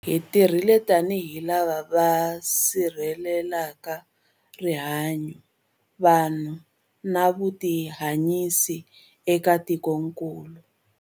Hi tirhile tanihi lava va sirhelelaka rihanyu, vanhu na vutihanyisi eka tikokulu.